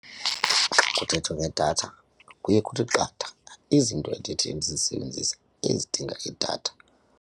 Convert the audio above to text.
Xa kuthethwa ngedatha kuye kuthi qatha izinto endithi ndizisebenzise ezidinga idatha.